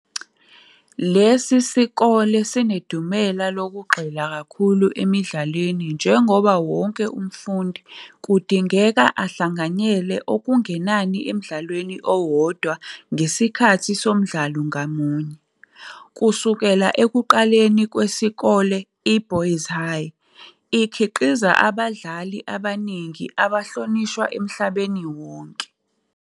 Lesi sikole sinedumela lokugxila kakhulu emidlalweni njengoba wonke umfundi kudingeka ahlanganyele okungenani emdlalweni owodwa ngesikhathi somdlalo ngamunye. Kusukela ekuqaleni kwesikole "i-Boys High" ikhiqize abadlali abaningi abahlonishwa emhlabeni wonke.